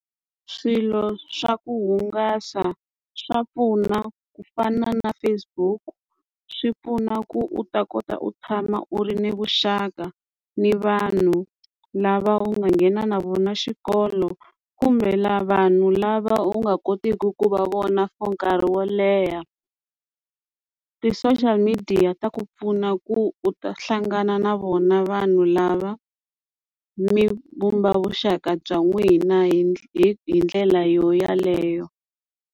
Swilo swa ku hungasa swa pfuna ku fana na Facebook swi pfuna ku u ta kota u tshama u ri ni vuxaka ni vanhu lava u nga nghena na vona xikolo kumbe lava vanhu lava u nga kotiki ku va vona for nkarhi wo leha ti-social media ta ku pfuna ku u ta hlangana na vona vanhu lava mi vumba vuxaka bya n'wina hi hi hi ndlela yo yeleyo.